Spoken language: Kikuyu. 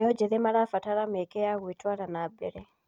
Mbeũ njĩthĩ marabatara mĩeke ya gwĩtara na mbere.